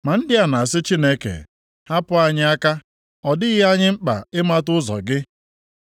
Ma ndị a na-asị Chineke, ‘Hapụ anyị aka, ọ dịghị anyị mkpa ịmata ụzọ gị.